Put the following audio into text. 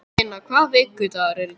Steina, hvaða vikudagur er í dag?